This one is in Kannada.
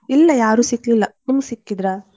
ಇಲ್ಲ ಯಾರು ಸಿಕ್ಲಿಲ್ಲ ನಿಮ್ಗೆ ಸಿಕ್ಕಿದ್ರಾ?